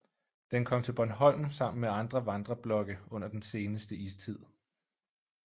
Den kom til Bornholm sammen med andre vandreblokke under den seneste istid